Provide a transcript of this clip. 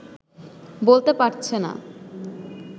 বলতে পারছে না